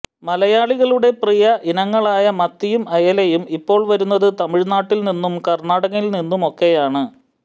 മലയാളികളുടെ പ്രിയ ഇനങ്ങളായ മത്തിയും അയലയും ഇപ്പോൾ വരുന്നത് തമിഴ്നാട്ടിൽനിന്നും കർണാടകയിൽനിന്നുമൊക്കെയാണ്